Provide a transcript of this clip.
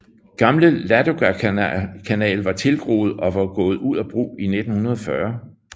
Gamle Ladogakanal var tilgroet og var gået ud af brug i 1940